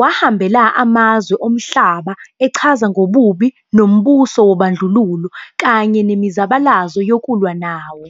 wahambela amazwe omhlaba echaza ngobubi bombuso wobandlululo kanye nemizabalazo yokulwa nawo.